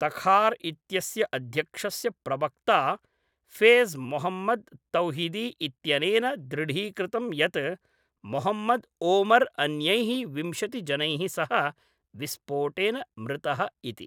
Takhar इत्यस्य अध्यक्षस्य प्रवक्ता फेज़ मोहम्मद् तौहिदी इत्यनेन दृढीकृतं यत् मोहम्मद् ओमर् अन्यैः विंशतिजनैः सह विस्फोटेन मृतः इति।